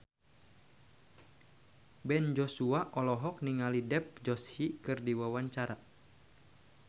Ben Joshua olohok ningali Dev Joshi keur diwawancara